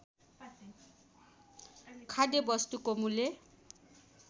खाद्य वस्तुको मूल्य